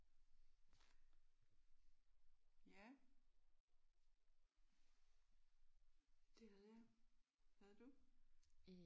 Ja det havde jeg. Havde du?